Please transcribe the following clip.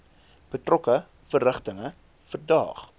betrokke verrigtinge verdaag